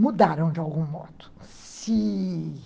mudaram de algum modo, se...